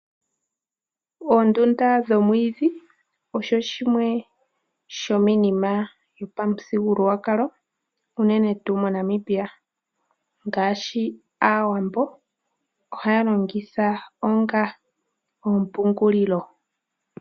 Oondunda dhomwiidhi osho shimwe shomiinima yopa muthigululwakalo, unene tuu mo Namibia. Ngaashi aawambo ohaya longitha onga ompungulilo.